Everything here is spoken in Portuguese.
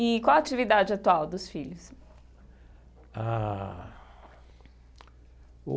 E qual a atividade atual dos filhos? Ah o.